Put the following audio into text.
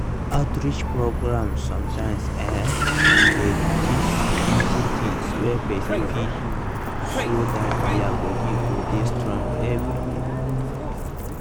outreach programs sometimes[um]dey teach simple things wey person fit do so that their body go dey strong everyday.